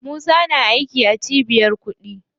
Musa na aiki a cibiyar kuɗi.